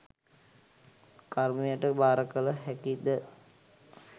කර්මයට භාරකළ හැකි ද?